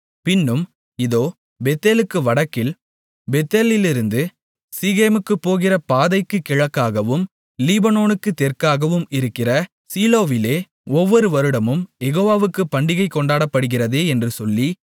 பின்னும் இதோ பெத்தேலுக்கு வடக்கில் பெத்தேலிலிருந்து சீகேமுக்குப் போகிற பாதைக்குக் கிழக்காகவும் லிபோனாவுக்குத் தெற்காகவும் இருக்கிற சீலோவிலே ஒவ்வொரு வருடமும் யெகோவாவுக்குப் பண்டிகை கொண்டாடப்படுகிறதே என்று சொல்லி